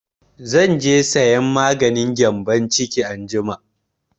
Zan je sayan maganin gyambon ciki anjima